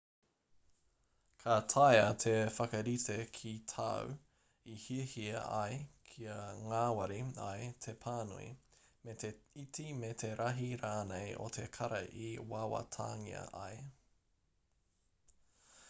ka taea te whakarite ki tāu i hiahia ai kia ngāwari ai te pānui me te iti me te rahi rānei o te kara i wawatangia ai